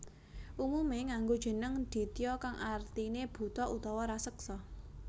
Umumé nganggo jeneng Ditya kang artiné buta utawa raseksa